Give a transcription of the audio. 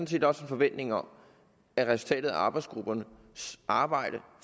set også en forventning om at resultatet af arbejdsgruppernes arbejde